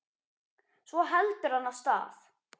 Svo heldur hann af stað.